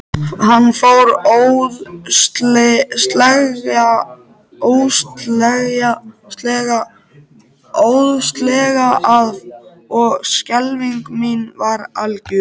Hann fór óðslega að og skelfing mín var algjör.